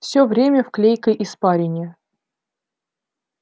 всё время в клейкой испарине